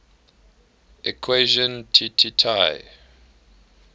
equation tt tai